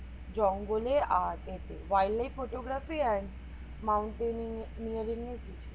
জঙ্গলে আর wildlife photography আর mountain নিয়ে কিছু